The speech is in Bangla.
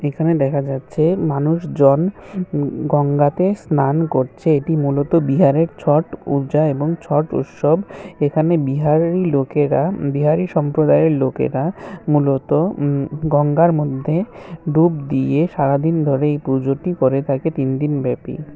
এখানে দেখা যাচ্ছে মানুষ জন গঙ্গাতে স্নান করছে এটি মূলত বিহারে ছট পূজা এবং ছট উৎসব এখানে বিহারেরই লোকেরা বিহারী সম্প্রদায়ের লোকেরা মূলত গঙ্গার মধ্যে ডুব দিয়ে সারাদিন ধরে এই পুজোটি করে থাকে তিনদিন ব্যাপী।